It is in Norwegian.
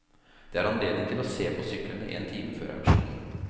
Det er anledning til å se på syklene en time før auksjonen.